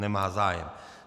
Nemá zájem.